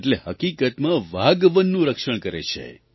એટલે હકીકતમાં વાઘ વનનું રક્ષણ કરે છે